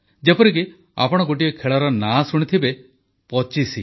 ଯେପରିକି ଆପଣ ଗୋଟିଏ ଖେଳର ନାଁ ଶୁଣିଥିବେ ପଚିଶି